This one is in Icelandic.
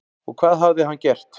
Og hvað hafði hann gert?